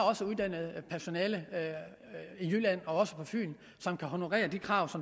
uddannet personale i jylland og på fyn som kan honorere de krav